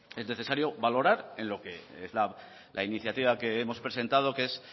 es necesario valorar en lo que es la iniciativa que hemos presentado que es